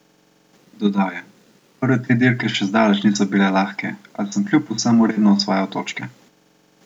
Dodal je: "Prve tri dirke še zdaleč niso bile lahke, a sem kljub vsemu redno osvajal točke.